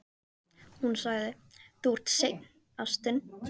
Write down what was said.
Hún sagði: Þú ert seinn, ástin.